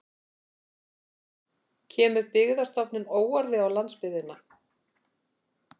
Kemur Byggðastofnun óorði á landsbyggðina